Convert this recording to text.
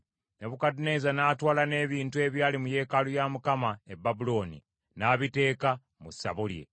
Nebukadduneeza n’atwala n’ebintu ebyali mu yeekaalu ya Mukama e Babulooni, n’abiteeka mu ssabo lye.